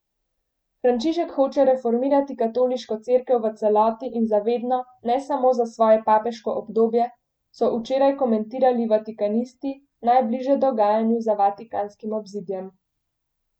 Frančišek hoče reformirati Katoliško cerkev v celoti in za vedno, ne samo za svoje papeško obdobje, so včeraj komentirali vatikanisti, najbliže dogajanju za vatikanskim obzidjem.